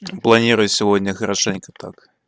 планирую сегодня хорошенько так